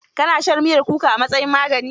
Ka na shan miyar kuka a matsayin magani?